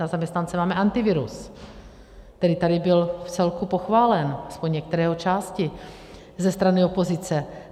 Na zaměstnance máme Antivirus, který tady byl vcelku pochválen, alespoň některé jeho části, ze strany opozice.